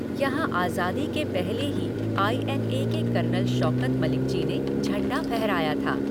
यहाँ आज़ादी के पहले ही आई एन ए के कर्नल शौकत मलिक जी ने झंडा फहराया था।